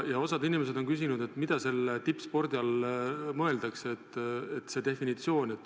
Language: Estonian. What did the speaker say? Osa inimesi on küsinud, mida tippspordi all mõeldakse, kas on selline definitsioon.